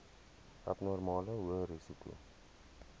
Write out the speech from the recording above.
abnormale hoë risiko